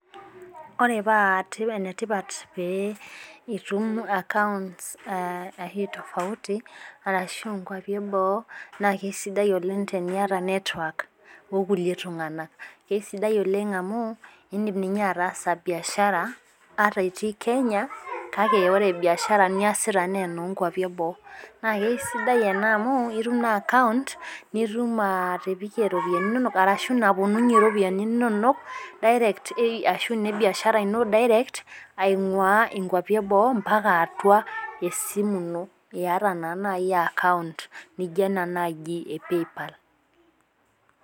Ore paa ene tipat pee itum accounts tofauti arashu nkwapi eboo naa isidai teniata esidai oleng amu idim ninye ataasa biashara ata itii Kenya. kake ore biashara niasita naa enoo nkuapi eboo. naa kisidai ena amu itum naa account nitum atipikke iropiyiani inonok, ashu naapuonunye iropiyiani inonok direct ashu ipik biashara ino. aingua nkuapi eboo atua esimu ino iyata naa naji account .nijo ena naaji e PayPal.